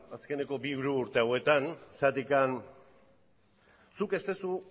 azkeneko bi hiru urte hauetan zergatik zuk ez duzu